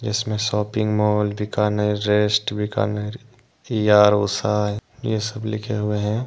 इसमें shopping mall Bikaner rest Bikaner E R O sign ये सब लिखे हुए हैं।